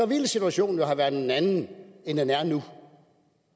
ville situationen have været en anden end den er nu